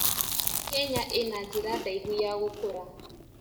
Kenya ĩna njĩra ndaihu ya gũkũra.